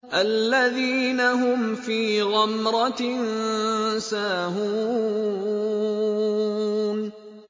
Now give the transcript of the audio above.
الَّذِينَ هُمْ فِي غَمْرَةٍ سَاهُونَ